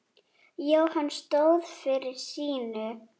Jóhann stóð fyrir sínu.